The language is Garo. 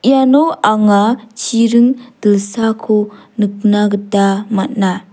iano anga chiring dilsako nikna gita man·a.